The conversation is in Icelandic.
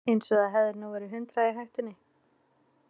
Eins og það hefði nú verið hundrað í hættunni.